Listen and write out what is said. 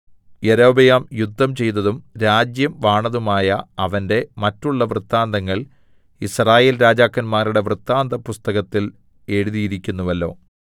യൊരോബെയാം യുദ്ധം ചെയ്തതും രാജ്യം വാണതുമായ അവന്റെ മറ്റുള്ള വൃത്താന്തങ്ങൾ യിസ്രായേൽ രാജാക്കന്മാരുടെ വൃത്താന്തപുസ്തകത്തിൽ എഴുതിയിരിക്കുന്നുവല്ലോ